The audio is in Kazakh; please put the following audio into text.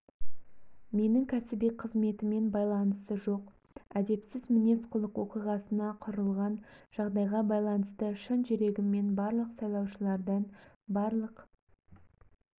менің кәсіби қызметіммен байланысы жоқ әдепсіз мінез-құлық оқиғасына құрылған жағдайға байланысты шын жүрегіммен барлық сайлаушылардан барлық